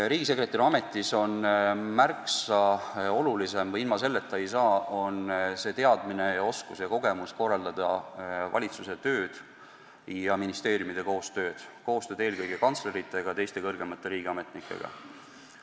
Riigisekretäri ametis on märksa olulisem – ilma selleta ei saa – teadmine, oskus ja kogemus korraldada valitsuse tööd ja ministeeriumide koostööd, koostööd eelkõige kantslerite ja teiste kõrgemate riigiametnikega.